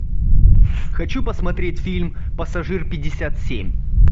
хочу посмотреть фильм пассажир пятьдесят семь